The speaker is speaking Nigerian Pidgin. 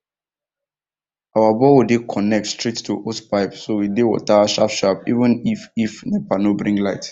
our borehole dey connect straight to hosepipe so we dey water sharpsharp even if if nepa no bring light